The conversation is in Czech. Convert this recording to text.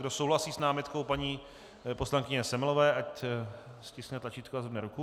Kdo souhlasí s námitkou paní poslankyně Semelové, ať stiskne tlačítko a zvedne ruku.